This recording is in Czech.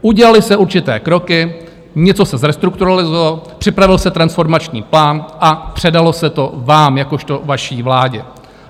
Udělaly se určité kroky, něco se zrestrukturalizovalo, připravil se transformační plán a předalo se to vám jakožto vaší vládě.